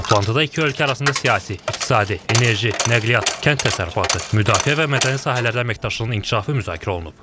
Toplantıda iki ölkə arasında siyasi, iqtisadi, enerji, nəqliyyat, kənd təsərrüfatı, müdafiə və mədəni sahələrdə əməkdaşlığın inkişafı müzakirə olunub.